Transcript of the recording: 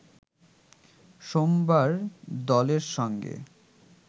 সোমবার দলের সঙ্গে